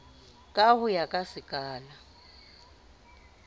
ka ho ya ka sekala